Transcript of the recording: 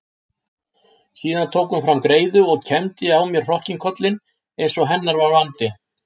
Síðan tók hún fram greiðu og kembdi á mér hrokkinkollinn einsog hennar var vandi.